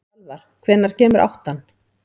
Salvar, hvenær kemur áttan?